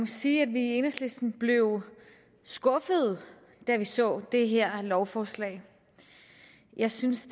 sige at vi i enhedslisten blev skuffet da vi så det her lovforslag jeg synes